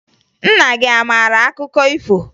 Nna gị a maara akọ akụkọ ifo?